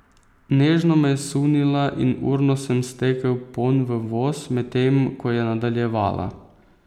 Nežno me je sunila in urno sem stekel ponj v voz, medtem ko je nadaljevala.